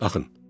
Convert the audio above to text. Baxın.